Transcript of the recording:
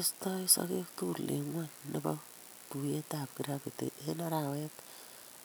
Istoi sogeek tugul eng' ng'wony ne po tuiyetap kiraftit eng' arawet